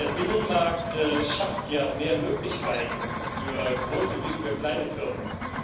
Der Binnenmarkt schafft ja mehr Möglichkeiten für große wie für kleine Firmen.